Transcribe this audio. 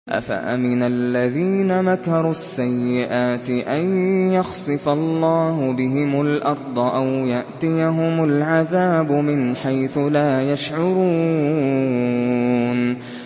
أَفَأَمِنَ الَّذِينَ مَكَرُوا السَّيِّئَاتِ أَن يَخْسِفَ اللَّهُ بِهِمُ الْأَرْضَ أَوْ يَأْتِيَهُمُ الْعَذَابُ مِنْ حَيْثُ لَا يَشْعُرُونَ